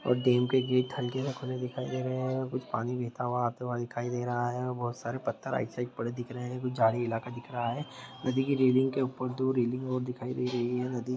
और डैम के गेट हलके से खुले दिखाई दे रहें है कुछ पानी बहता हुआ आता हुआ दिखाई दे रहा है बहुत सारे पत्थर आइड साइड पडे दिख रहें है कुछ झाड़ी इलाका दिख रहा है। नदी के रेलिंग के ऊपर दो रेलिंग और दिखाई दे रही है। नदी --